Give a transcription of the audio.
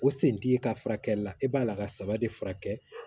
O sen t'i ka furakɛli la e b'a la ka saba de furakɛ